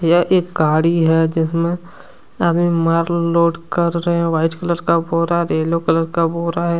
यह एक गाड़ी है जिसमे आदमी माल लोड कर रहे है व्हाइट कलर का बोरा येलो कलर का बोरा है।